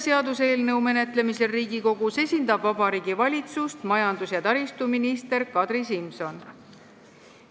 Seaduseelnõu menetlemisel Riigikogus esindab Vabariigi Valitsust majandus- ja taristuminister Kadri Simson.